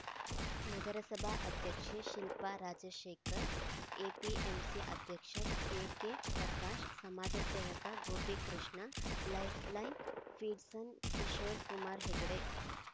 ನಗರಸಭಾ ಅಧ್ಯಕ್ಷೆ ಶಿಲ್ಪಾ ರಾಜಶೇಖರ್‌ ಎಪಿಎಂಸಿ ಅಧ್ಯಕ್ಷ ಎಕೆ ಪ್ರಕಾಶ್‌ ಸಮಾಜ ಸೇವಕ ಗೋಪಿಕೃಷ್ಣ ಲೈಫ್‌ಲೈನ್‌ ಫೀಡ್ಸ್‌ನ ಕಿಶೋರ್‌ಕುಮಾರ್‌ ಹೆಗ್ಡೆ